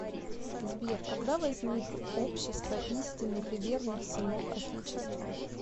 сбер когда возник общество истинных и верных сынов отечества